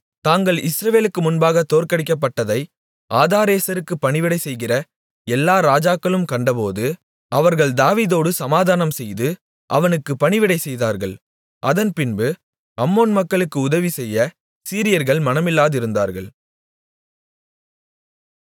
தாங்கள் இஸ்ரவேலுக்கு முன்பாக தோற்கடிக்கப்பட்டதை ஆதாரேசருக்குப் பணிவிடை செய்கிற எல்லா ராஜாக்களும் கண்டபோது அவர்கள் தாவீதோடு சமாதானம்செய்து அவனுக்குப் பணிவிடை செய்தார்கள் அதன்பின்பு அம்மோன் மக்களுக்கு உதவிசெய்ய சீரியர்கள் மனமில்லாதிருந்தார்கள்